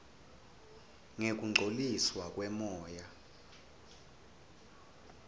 ngekungcoliswa kwemoya